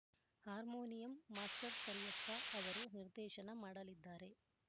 harmonium master Kariyappa ಅವರು ನಿರ್ದೇಶನ ಮಾಡಲಿದ್ದಾರೆ